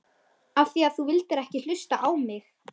Af því að þú vildir ekki hlusta á mig!